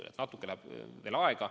Nii et natuke läheb veel aega.